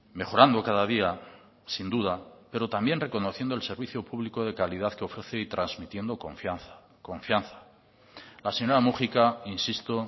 mejorando cada día sin duda pero también reconociendo el servicio público de calidad que ofrece y transmitiendo confianza confianza la señora múgica insisto